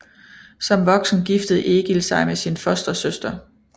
Som voksen giftede Egil sig med sin fostersøster